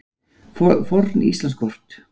Forn Íslandskort.